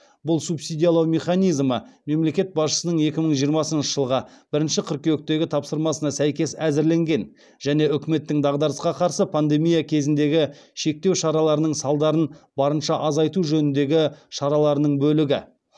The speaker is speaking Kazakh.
бұл субсидиялау механизмі мемлекет басшысының екі мың жиырмасыншы жылғы бірінші қыркүйектегі тапсырмасына сәйкес әзірленген және үкіметтің дағдарысқа қарсы пандемия кезіндегі шектеу шараларының салдарын барынша азайту жөніндегі шараларының бөлігі